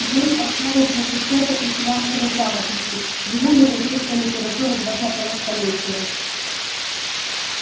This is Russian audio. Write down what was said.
ей основы бухучёта и финансовой грамотности ему европейская литература двадцатого столетия